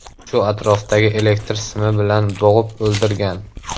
Shu atrofdagi elektr simi bilan bo‘g‘ib o‘ldirgan.